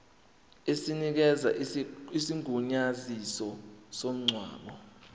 esinikeza isigunyaziso somngcwabo